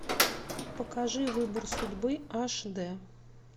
покажи выбор судьбы аш д